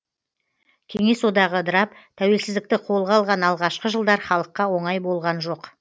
кеңес одағы ыдырап тәуелсіздікті қолға алған алғашқы жылдар халыққа оңай болған жоқ